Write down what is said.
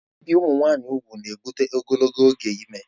Ibi ụmụ nwanyị ùgwù na-ebụte ogologo oge ime